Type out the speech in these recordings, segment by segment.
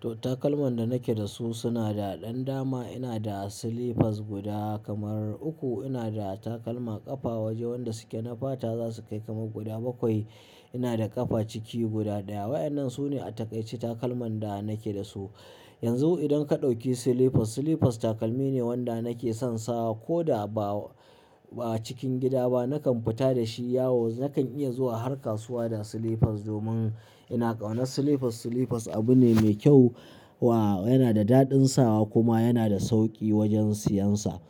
To takalman da nake da su suna da ɗan dama. Ina da slippers guda kamar uku. Ina da takalma ƙafa waje wanda suke na fata za su kai kamar guda bakwai. Ina da ƙafa ciki guda ɗaya. Waƴannan su ne a takaice takalman da nake da su. Yanzu idan ka ɗauki slippers, slippers takalmi ne wanda nake son sawa ko da ba, ba cikin gida ba. Nakan fita da shi yawo. Nakan iya zuwa har kasuwa da slippers domin ina ƙaunar slippers. Slippers abu ne me kyau wa, yana da daɗin sawa kuma yana da sauƙi wajen siyansa.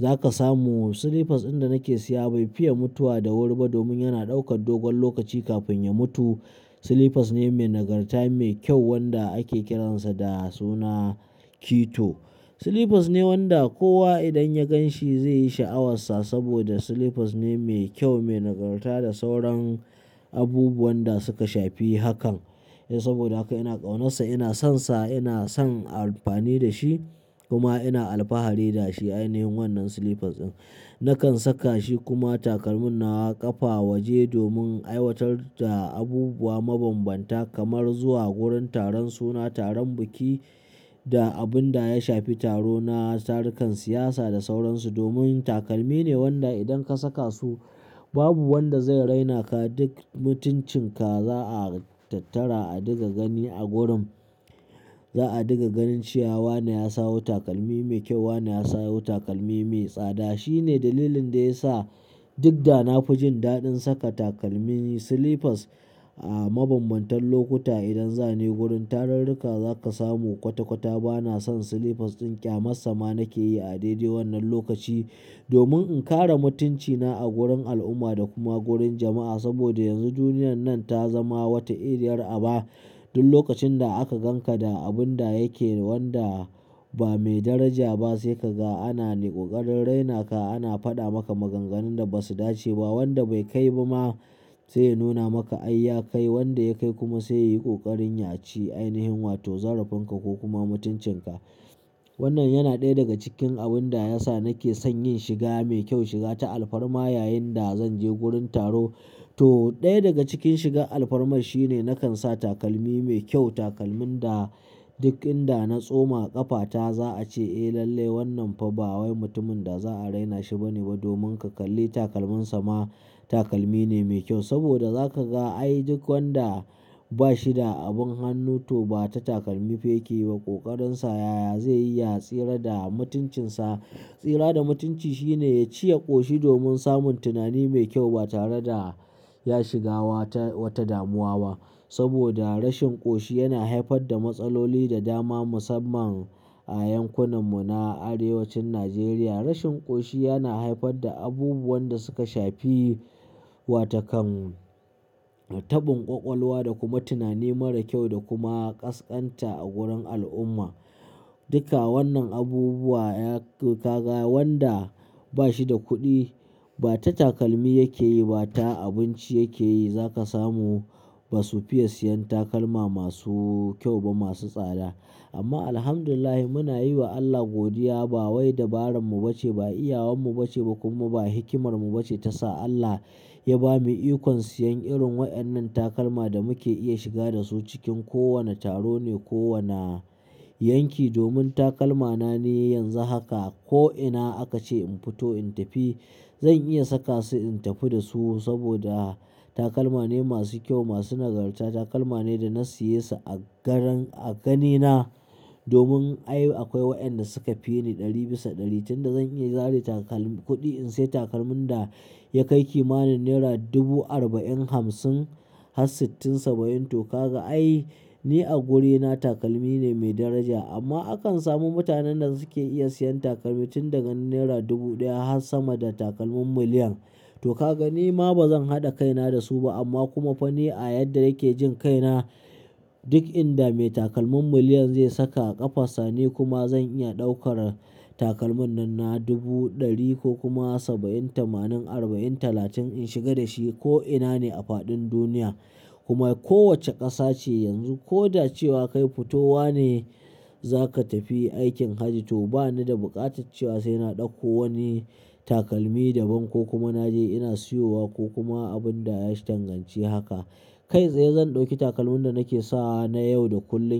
Za ka samu slippers din da nake siya bai fiye mutuwa da wuri ba domin yana ɗaukar dogon lokaci kafin ya mutu. Slippers ne mai nagarta, mai kyau wanda ake kiransa da suna kito. Slippers ne wanda kowa idan ya gan shi zai yi sha'awar sa saboda slippers ne mai kyau, mai nagarta da sauran abubuwan da suka shafi hakan. Eh saboda haka ina ƙaunarsa, ina sonsa, ina son amfani da shi kuma ina alfahari da shi. Ainihin wannan slippers ɗin. Nakan saka shi kuma takalmin nawa ƙafa waje domin aiwatar da abubuwa mabanbanta kamar zuwa gurin taron suna, taron biki da abun da ya shafi taro na tarukan siyasa da sauran su. Domin takalmi ne wanda idan ka saka su babu wanda zai raina ka. Duk mutuncin ka za a tattara a ɗiga gani a gurin. Za a ɗiga ganin cewa wane ya sawo takalmi mai kyau, wane ya sawo takalmi mai tsada. Shi ne dalilin da ya sa duk da na fi jin daɗin saka takalmi slippers a mabanbantan lokuta, idan za ni gurin tarurruka zaka samu kwata-kwata ba na son slippers ɗin ƙyamarsa ma nake yi a dai dai wannan lokaci domin in kare mutuncina a gurin al'umma da kuma gurin jama'a. Saboda yanzu duniyar nan ta zama wata iriyar aba. Duk lokacin da aka gan ka da abun da yake wanda ba mai daraja ba sai ka ga ana ƙoƙarin raina ka. Ana faɗa maka maganganun da basu dace ba. Wanda bai kai ba ma zai nuna maka ai ya kai. Wanda ya kai kuma sai yi ƙoƙarin ya ci ainihin wato zarafin ka ko kuma mutuncinka. Wannan yana ɗaya daga cikin abun da ya sa nake son yin shiga mai kyau, shiga ta alfarma yayin da zanje gurin taro. To ɗaya daga cikin shiga alfarma shine nakan sa takalmi mai kyau. Takalmin da duk inda na tsoma ƙafata za a ce, "Eh lalle wannan fa ba wai mutumin da za a raina shi bane ba domin ka kalli takalminsa ma takalmi ne mai kyau." Saboda za ka ga ai duk wanda, bashi da abun hannu to ba ra takalmi yake ba, kokarinsa ya zai yi ya tsira da mutuncinsa. Tsira da mutunci shi ne ba shi da abin hannu to ba ta takalmi yake yi ba, ta abinci yake yi, za ka samu ba su fiye siyan takalma masu kyau ba, masu tsada. Amma Alhamdulillah muna yi wa Allah godiya. Ba wai dabararmu bace, ba iyawanmu bace ba kuma ba hikimarmu bace ta sa Allah ya bamu ikon siyan irin waƴannan takalma da muke iya shiga da su cikin kowane taro ne ko wane yanki. Domin takalmana ni yanzu haka ko'ina aka ce in fito in tafi zan iya saka su in tafi da su saboda takalma ne masu kyau, masu nagarta. Takalma ne da na siye su a garan, a gani na. Domin ai akwai waƴanda suka fi ni ɗari bisa ɗari tun da zan iya zare takal kuɗi in sai takalmin da ya kai kimanin naira dubu arba'in, hamsin har sittin, saba'in. To ka ga ai ni a gurina takalmi ne mai daraja. Amma akan samu mutanen da suke iya siyan takalmi tun daga naira dubu ɗaya har sama da takalmin miliyan. To ka ga ni ma ba zan haɗa kaina da su ba, amma kuma fa ni a yadda nake jin kaina duk inda mai takalmin miliyan zai saka a ƙafarsa ni kuma zan iya ɗaukar takalmin na dubu, ɗari ko kuma saba'in, tamanin, arba'in, talatin in shiga da shi ko'ina ne a faɗin duniya kuma kowace ƙasa ce yanzu. Ko da cewa kai fitowa ne za ka tafi aikin hajji to ba ni da buƙatar cewa sai na ɗauko wani takalmi daban ko kuma naje ina siyowa ko kuma abun da ya danganci haka. Kai tsaye zan ɗauki takalmin da nake sawa na yau da kullum.